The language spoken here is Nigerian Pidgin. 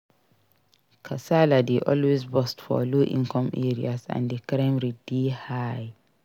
Kasala dey always burst for low income areas and di crime rate dey high